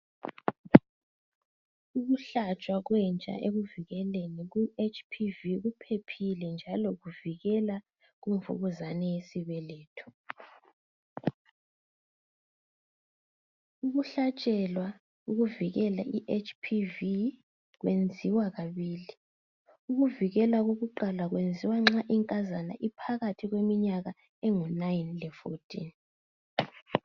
Ukuhlatshwa kwentsha ekuvikeleni ku HPV kuphephile njalo kuvikela kumvukuzane yesibeletho. Ukuhlatshelwa ukuvikela i HPV Kwenziwa kabili. Ukuvikela kokuqala kwenziwa nxa inkazana iphakathi kweminyaka engu 9 le14.